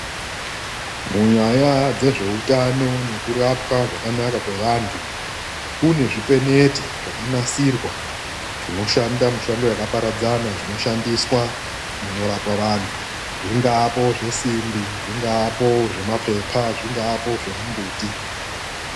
Munyaya dzezveutano nekurapwa zvakanaka kwevantu. Kune zvipeneti zvakanasirwa zvinoshanda mushando yakaparadzana, zvinoshandiswa munorapwa vantu. Zvingaapo zvesimbi, zvingaapo zvemaphepha, zvingaapo zvemumbuti.